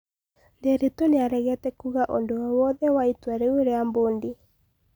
Nderitu niaregete kuuga ũndũ o wothe wa itua rĩu rĩa mbondi